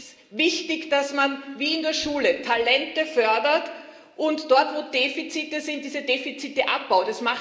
Denn es ist wichtig, dass man wie in der Schule Talente fördert und dort, wo Defizite sind, diese Defizite abbaut.